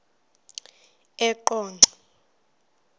eqonco